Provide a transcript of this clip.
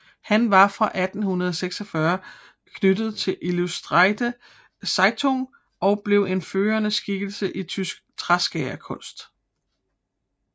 Han var fra 1846 knyttet til Illustrirte Zeitung og blev en førende skikkelse i tysk træskærerkunst